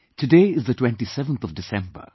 Today is the 27th of December